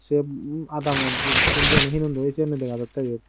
yeb um adamot jittun jiyani hinondoi ei siyanit dega jatteh eyut.